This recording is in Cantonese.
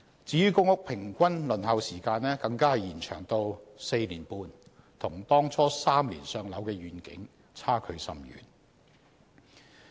至於公屋平均輪候時間更延長至 4.5 年，與當初 "3 年上樓"的願景差距甚遠。